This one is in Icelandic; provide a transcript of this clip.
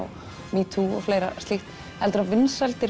metoo og fleira slíkt heldurðu að vinsældir